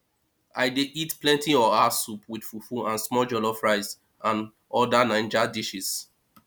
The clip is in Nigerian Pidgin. i dey eat plenty oha soup with fufu and small jollof rice and oda naijas dishes